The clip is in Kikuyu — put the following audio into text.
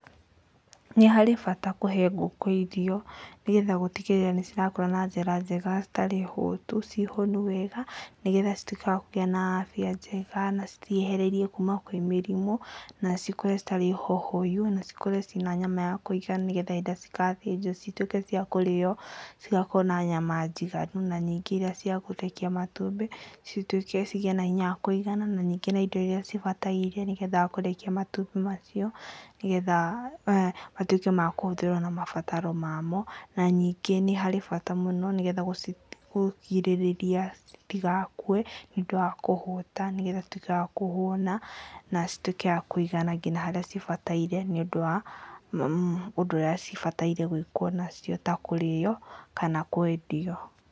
Nĩ harĩ bata kũhe ngũkũ irio, nĩgetha gũtigĩrĩra nĩ cirakũra na njĩra njega citarĩ hotu ciĩ honu wega, nĩgetha cituĩke wa kũgĩa na afya njega na ciehererio kuma kwĩ mĩrimũ, na cikũre citarĩ hohoyu, na cikũre ciĩ na nyama ya kũigana, nĩgetha hĩndĩ ĩrĩa cigathĩnjwo cituĩke cia kũrĩo cigakorwo na nyama njiganu, na ningĩ iria cia kũrekia matumbĩ cigĩĩ na hinya wa kũigana, na ningĩ indo iria cibataire nĩgetha kũrekia matumbĩ macio, nĩgetha matuĩke ma kũhũthĩrwo na mabataro mamo, na ningĩ nĩ harĩ bata mũno nĩgetha kũgirĩrĩria citigakue, nĩũndũ wa kũhũta, nĩgetha ituĩke wa kũhũna, na cituĩke cia kũigana nginya harĩa cibataire, nĩũndũ wa ũndũ ũrĩa cibataire gwĩkwo nacio, ta kũrĩo kana kwendio.